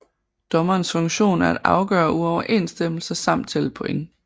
Dommerens funktion er at afgøre uoverensstemmelser samt tælle point